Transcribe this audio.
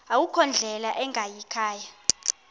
akukho ndlela ingayikhaya